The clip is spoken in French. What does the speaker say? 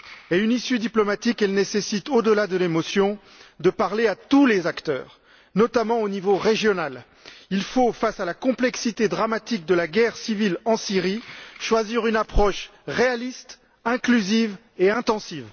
Or, une issue diplomatique nécessite, au delà de l'émotion, de parler à tous les acteurs, notamment au niveau régional. Il faut, face à la complexité dramatique de la guerre civile en Syrie, choisir une approche réaliste, une démarche inclusive et des efforts intensifs.